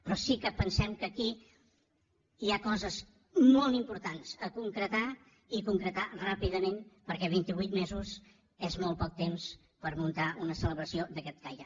però sí que pensem que aquí hi ha coses molt importants a concretar i a concretar ràpidament perquè vint i vuit mesos és molt poc temps per muntar una celebració d’aquest caire